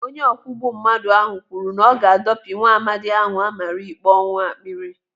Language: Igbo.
Onye ọkwugbu mmadụ ahụ kwuru na ọ ga-adopi nwaamadi ahụ amara ikpe ọnwụ akpịrị.